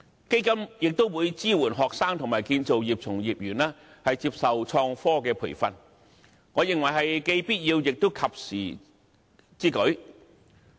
基金亦會支援學生和建造業從業員接受創新科技培訓，我認為這是既必要，也是及時之舉。